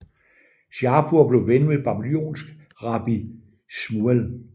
Shapur blev ven med en babylonisk rabbi Shmuel